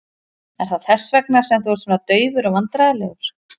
Er það þess vegna sem þú ert svona daufur og vandræðalegur?